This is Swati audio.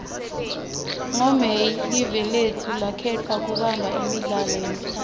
ngo may live lotfu lakhetfwa kubamba imidlalo yemhlaba